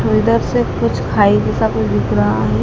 इधर से कुछ खाई जैसा कुछ दिख रहा है।